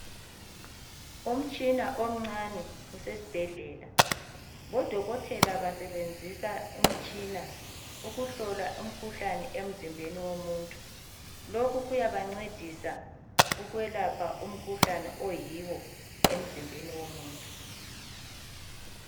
Umtshina omncane usesibhedlela, bodokotela basebenzisa umtshina ukuhlola umkhuhlane emzimbeni womuntu , lokhu kuyabancedisa ukulapha umkhuhlane oyiwo emzimbeni womuntu.